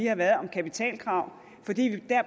har været om kapitalkrav fordi vi